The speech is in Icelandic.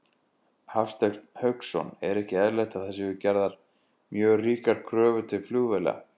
Hafsteinn Hauksson: Er ekki eðlilegt að það séu gerðar mjög ríkar kröfur til flugvéla?